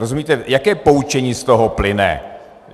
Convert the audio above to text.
Rozumíte, jaké poučení z toho plyne?